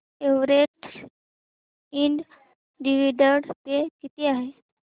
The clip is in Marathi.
एव्हरेस्ट इंड डिविडंड पे किती आहे